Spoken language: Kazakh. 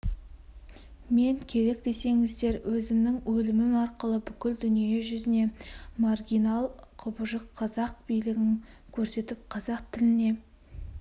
мен керек десеңіздер өзімнің өлімім арқылы бүкіл дүние жүзіне маргинал құбыжық қазақ билігін көрсетіп қазақ тіліне